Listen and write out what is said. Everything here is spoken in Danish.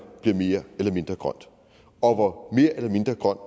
bliver mere eller mindre grønt og hvor mere eller mindre grønt